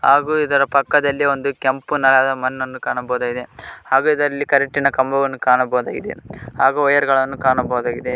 ಹಾಗೂ ಇದರ ಪಕ್ಕದಲ್ಲಿ ಒಂದು ಕೆಂಪು ನೆಲದ ಮಣ್ಣನ್ನು ಕಾಣಬಹುದಾಗಿದೆ ಹಾಗೂ ಇದಲ್ಲಿ ಕರೆಂಟಿ ನ ಕಂಬವನ್ನು ಕಾಣಬಹುದಾಗಿದೆ ಹಾಗೂ ವೈರ ಗಳನ್ನು ಕಾಣಬಹುದಾಗಿದೆ.